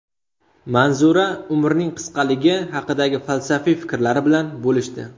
Manzura umrning qisqaligi haqidagi falsafiy fikrlari bilan bo‘lishdi.